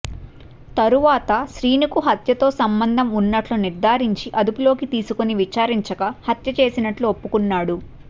తరువాత శ్రీను కు హత్యతో సంబంధం ఉన్నట్టు నిర్ధారించి అదుపులోకి తీసుకుని విచారించగా హత్య చేసినట్లు ఒప్పుకున్నాడు